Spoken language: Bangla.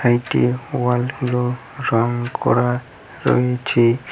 ওয়ালগুলো রং করা রয়েছে।